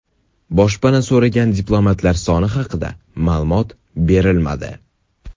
Boshpana so‘ragan diplomatlar soni haqida ma’lumot berilmadi.